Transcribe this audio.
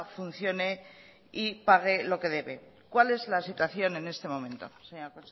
funcione y pague lo que debe cuál es la situación en este momento señora